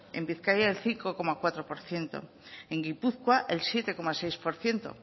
en bizkaia del cinco coma cuatro por ciento en gipuzkoa el siete coma seis por ciento